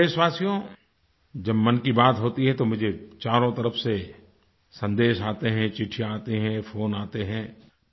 मेरे प्यारे देशवासियो जब मन की बात होती है तो मुझे चारों तरफ से सन्देश आते हैं चिट्ठियाँ आती हैं फ़ोन आते हैं